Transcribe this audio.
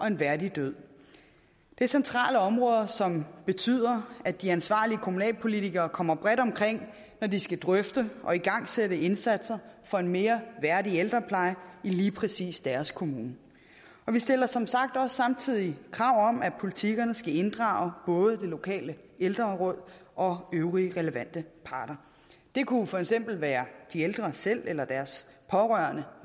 en værdig død det er centrale områder som betyder at de ansvarlige kommunalpolitikere kommer bredt omkring når de skal drøfte og igangsætte indsatser for en mere værdig ældrepleje i lige præcis deres kommune vi stiller som sagt også samtidig krav om at politikkerne skal inddrage både det lokale ældreråd og øvrige relevante parter det kunne for eksempel være de ældre selv eller deres pårørende